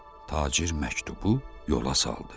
Tacir məktubu yola saldı.